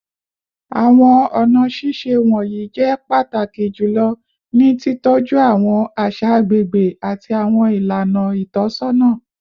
Awọn ọna ṣiṣe wọnyi jẹ pataki julọ ni titọju awọn aṣa agbegbe ati awọn ilana itọsọna